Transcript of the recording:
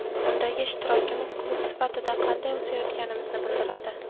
Undagi ishtirokimiz klub sifatida qanday o‘sayotganimizni bildiradi.